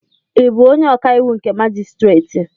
Ị bụ onye ọkàiwụ nke majistreti?